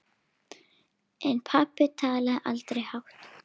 En pabbi talaði aldrei hátt.